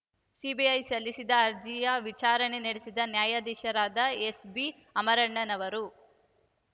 CBI ಸಲ್ಲಿಸಿದ್ದ ಅರ್ಜಿಯ ವಿಚಾರಣೆ ನಡೆಸಿದ ನ್ಯಾಯಾಧೀಶರಾದ ಎಸ್‌ಬಿಅಮರಣ್ಣನವರ್‌ ಅವರು